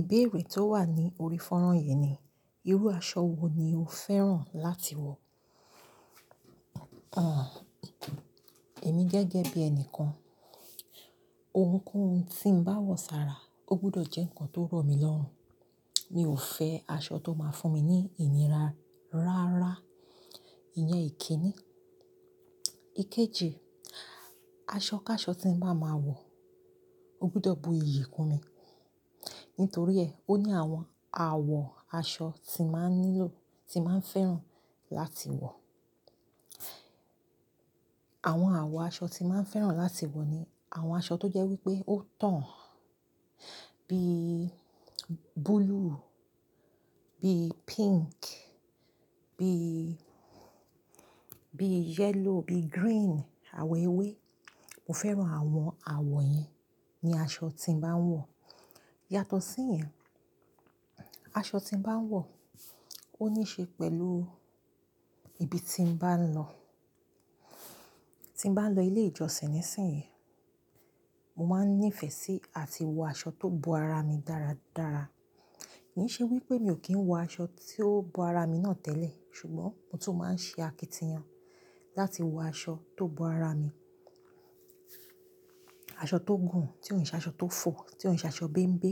Ìbéèrè tó wà ní orí fọ́nrán yìí ni, irú aṣọ wo ni o fẹ́ràn láti wọ̀? Àh, èmi jẹ́gẹ́ bí ẹni kan, ohunkóhun tí ń bá wọ̀ sára, ó gbọdọ̀ jẹ́ ǹkan tó rọ̀ mí lọ́rùn. Mi ò fẹ́ aṣọ tó máa fún mi ní ìnira. Rárá, ìyẹn ìkíni. Ikeji, aṣọ ká aṣọ tí ń bá máa wọ̀, ó gbọdọ̀ bu iyì kún mi. Nítorí ẹ, ó ní àwọn àwọ̀ aṣọ tí màá nílò, tí màá fẹ́ràn láti wọ̀. Àwọn àwọ̀ aṣọ tí màá fẹ́ràn láti wọ̀ ni àwọn aṣọ tó jẹ́ wípé ó tàn. Bí blue, bí pink, bí, bí yellow, bí green, àwọ̀ ewé. Mo fẹ́ràn àwọn àwọ̀ yen ní aṣọ tí ń bá ń wọ̀. Yàtọ̀ sí ìyẹn, aṣọ tí ń bá ń wọ̀ ó níí ṣe pẹ̀lú ibi tí ń bá ń lọ. Tí ń bá ń lọ ilé ìjọsìn níìsín yìí, mo máa ń ní ìfẹ́ sí àti wọ aṣọ tó bo ara mi dáradára. Kì í ṣe wípé mi ò kí ń wọ aṣọ tí ó bo ara mi náà tẹ́lẹ̀, ṣùgbọ́n mo tún máa ń ṣe akitiyan láti wọ aṣọ tó bo ara mi. Aṣọ tó gùn, tí ò ń ṣe aṣọ tó fò, tí ò ń ṣe aṣọ bénbé.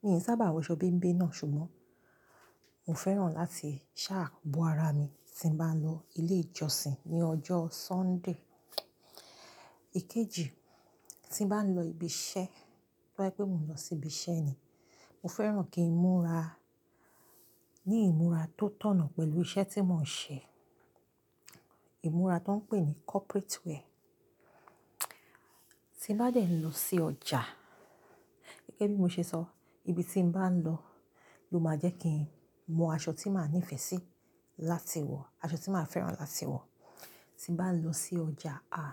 Mi ò sábà wọ aṣọ bénbé náà, ṣùgbọ́n mo fẹ́ràn láti ṣa bo ara mi tí ń bá ń lọ ilé ìjọsìn ní ọjọ́ Sunday. Ikeji, tí ń bá ń lọ ibi iṣẹ́, bó bá jẹ́ pé mò ń lọ sí ibi iṣẹ́ ni, mo fẹ́ràn kí ìmúra ní ìmúra tó tọ̀nà pẹ̀lú iṣẹ́ tí mò ń ṣe. Ìmúra tan ń pè ní corporate wear. Tí n bá dẹ̀ ń lọ sí ọjà, gẹ́gẹ́ bí mo ṣe sọ, ibi tí ń bá ń lọ ló máa jẹ́ kí n mọ aṣọ tí màá ní ìfẹ́ sí láti wọ̀, aṣọ tí màá fẹ́ràn láti wọ̀. Tí bá ń lọ sí ọjà, àh,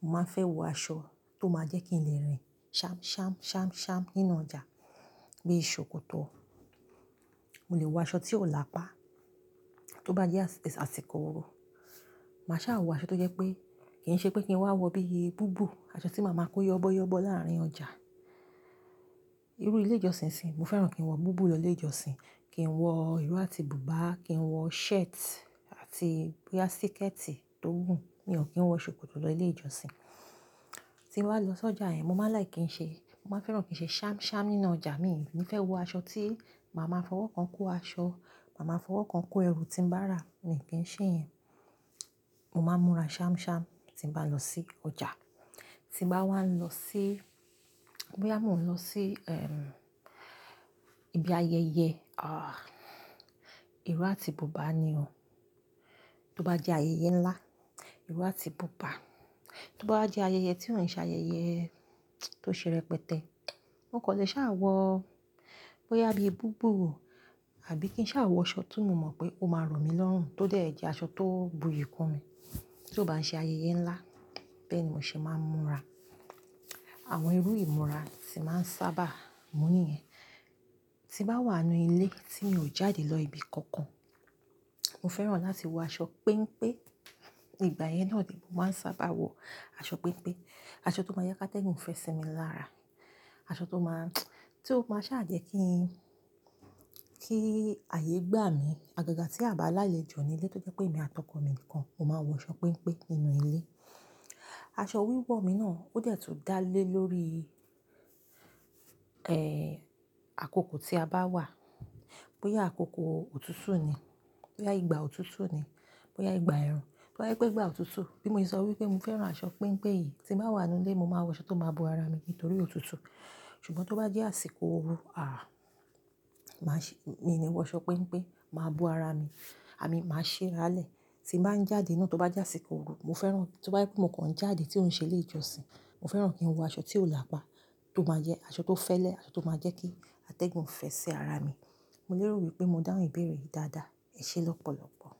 mo máa ń fẹ́ wọ aṣọ tó máa jẹ́ kí ń lè rìn ṣamṣamṣamṣam nínú ọjà. Bí ṣòkòtò. Mo lè wọ aṣọ tí ò lápá. Tó bá jẹ́ àsìkò oru, mà á ṣa wọ aṣọ tó jẹ́ pé kì í ṣe pé kí n wá wọ bí i búbù, aṣọ tí màá máa kó yọbọ́yọbọ́ láàrin ọjà. Irú ilé ìjọsìn sì, mo fẹ́ràn kí n wọ búbù lọ ilé ìjọsìn, kí n wọ ìró àti bùbá, kí n wọ shirt àti bí i a siketi tó gun. Mi ò kí ń wọ ṣòkòtò lọ ilé ìjọsìn. Tí ń bá lọ sí ọjà, yen mo máa like ki ń ṣe, mo máa fẹ́ràn kí ń ṣe ṣamṣam nínú ọjà. Mi ò ní fẹ́ wọ aṣọ tí màá máa fọwọ́ kan kó aṣọ, màá máa fọwọ́ kan kó ẹrù tí ń bá rà. Mi ò kí ń ṣe ìyẹn. Mo máa ń múra ṣamṣam tí ń bá ń lọ sí ọjà. Tí ń bá wá ń lọ sí, bóyá mò ń lọ sí, ehm, ibi ayẹyẹ, àh, ìró àti bùbá ni o. Tó bá jẹ́ ayẹyẹ ńlá, ìró àti bùbá. Tó bá jẹ́ ayẹyẹ tí ò ń ṣe ayẹyẹ tó ṣe rẹpẹtẹ, mó kò lè ṣa wọ, bóyá bí i búbù, àbí kí n ṣa wọ aṣọ tí mo mọ̀ pé ó máa rọ̀ mí lọ́rùn, tó dẹ̀ jẹ́ aṣọ tó bu iyì kún mi. Ti ó bá ń ṣe ayẹyẹ ńlá, bẹ́ẹ̀ ni mò ṣe máa ń múra. Àwọn irú ìmúra tí màá ń sábà mú nìyẹn. Tí ń bá wà nínú ilé tí mi ò jáde lọ ibi kankan, mo fẹ́ràn láti wọ aṣọ pẹ́npẹ́. Igbà yẹn náà ni mo máa ń sábà wọ aṣọ pẹ́npẹ́. Aṣọ tó máa ń jẹ́ kí atẹ́gùn fẹ́ sí mi lára. Aṣọ tó máa, tí ó máa ṣa jẹ́ kí, kí ààyè gbà mí. Àgàgà tí a bá lálẹ́ jọ ní ilé tó jẹ́ pé èmi àtọko mi nìkan, mo máa ń wọ aṣọ pẹ́npẹ́ nínú ilé. Aṣọ wíwọ̀ mi náà ó dẹ̀ tún dá lé lórí, ẹ́, àkókò tí a bá wà. Bóyá àkókò òtútù ni, bóyá ìgbà òtútù ni, bóyá ìgbà ẹ̀rùn. Bó bá jẹ́ pé ìgbà òtútù, bí mo ṣe sọ wípé mo fẹ́ràn aṣọ pẹ́npẹ́ yìí, tí ń bá wà nínú ilé, mo máa wọ aṣọ tó máa bo ara mi nítorí òtútù. Ṣùgbọ́n tó bá jẹ́ àsìkò oru, àh, màá ṣe, mi ò ní wọ aṣọ pẹ́npẹ́, màá bo ara mi. I mean, màá ṣi rálẹ̀. Tí ń bá ń jáde náà, tó bá jẹ́ àsìkò oru, mo fẹ́ràn, tó bá jẹ́ pé mò ń kàn jáde tí ò ń ṣe ilé ìjọsìn, mo fẹ́ràn kí n wọ aṣọ tí ò lápá, tó máa jẹ́ aṣọ tó fẹ́lẹ́, aṣọ tó máa jẹ́ kí atẹ́gùn fẹ́ sí ara mi. Mo lérò wípé mo dáhùn ìbéèrè yìí dáadáa. Ẹ ṣé lọ́pọ̀lọ́pọ̀.